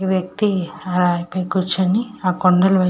ఈ వ్యక్తి రాయిపై కూర్చొని ఆ కొండల వైపు --